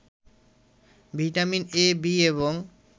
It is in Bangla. ভিটামিন ‘এ’ ‘বি’ এবং